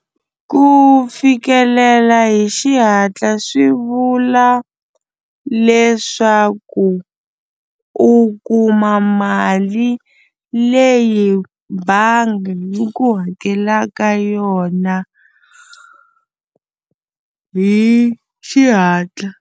Ku fikelela hi xihatla swi vula leswaku u kuma mali leyi bangi yi ku hakelaka yona hi xihatla.